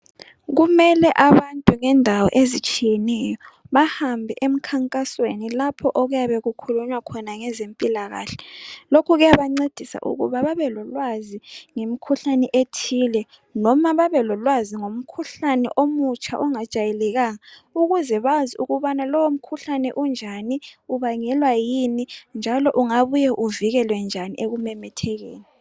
kumele abantu bendawo ezitshiyeneyo bahambe emkhankasweni lapho okuyabe kukhulunywa ngabezempilakahle lokhu kuyabancedisa ukuba babe lolwazi ngemikhuhlane ethile loba babe lolwazi ngomkhuhlane omutsha ongajwayelekanga ukuze bazi ukuthi lowo mkhuhlane unjani ubangelwa yikuyini njalo ungabuye uvikelwe njani ekumemethekeni